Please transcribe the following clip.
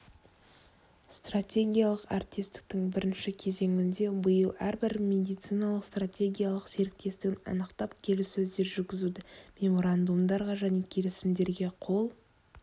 стратегиялық әріптестіктің бірінші кезеңінде биыл әрбір медициналық стратегиялық серіктестігін анықтап келіссөздер жүргізді меморандумдарға және келісімдерге қол